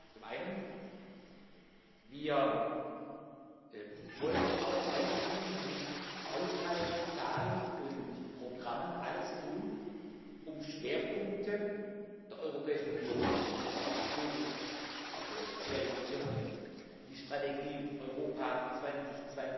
Zum einen Wir wollen auch weiterhin mit Haushaltszahlen und —programmen alles tun, um Schwerpunkte der Europäischen Union zu realisieren, die Strategie Europa 2020